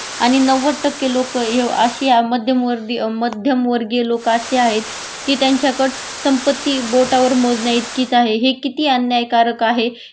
आणि नव्वद टक्के लोकह्य अशी मध्यमवर्दीय मध्यमवर्गीय लोक अशी आहेत कि त्यांच्याकडे संपत्ती बोटावर मोजण्या इतकीच आहे